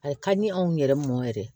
A ka di anw yɛrɛ mɔn yɛrɛ